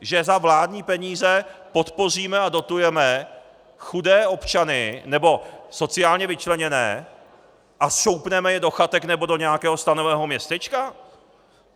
Že za vládní peníze podpoříme a dotujeme chudé občany nebo sociálně vyčleněné a šoupneme je do chatek nebo do nějakého stanového městečka?